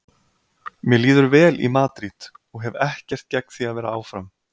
Mér líður vel í Madríd og hef ekkert gegn því að vera áfram.